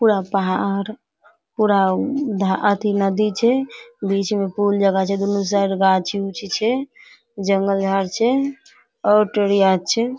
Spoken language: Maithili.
पूरा पहाड़ पूरा उ धा अथी नदी छे बीच में फुल जगह छे। दुनू साइड गाछी-उछि छे। जंगल झार छे और छे।